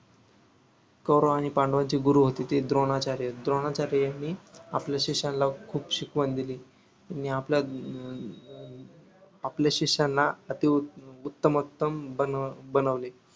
कौरव आणि पांडवांचे गुरु होते ते द्रोणाचार्य द्रोणाचार्यानी आपल्या शिष्याना खूप शिकावन दिली आणि आपला अं आपल्या शिष्याना अति उत्त उत्तमोत्तम बनवले